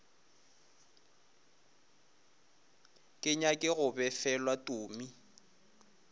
ke nyake go befelwa tumi